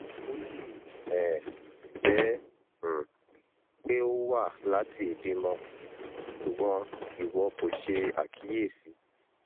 o le um jẹ um pe o wa lati ibimọ ṣugbọn iwọ ko ṣe akiyesi